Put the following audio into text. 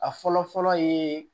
A fɔlɔ fɔlɔ ye